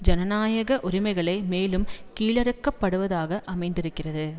ஜனநாயக உரிமைகளை மேலும் கீழிறுக்கப்படுவதாக அமைந்திருக்கிறது